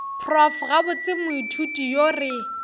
prof gabotse moithuti yo re